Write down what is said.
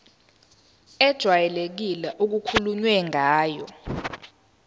ejwayelekile okukhulunywe ngayo